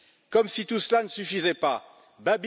Comme si tout cela ne suffisait pas, M.